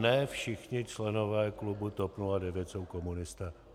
Ne všichni členové klubu TOP 09 jsou komunisté.